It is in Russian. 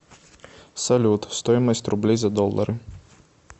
салют стоимость рублей за доллары